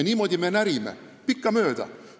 Niimoodi me pikkamööda närimegi.